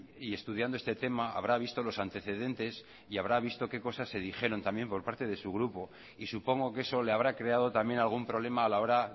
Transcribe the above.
y estudiando este tema habrá visto los antecedentes y habrá visto que cosas se dijeron también por parte de su grupo y supongo que eso le habrá creado también algún problema a la hora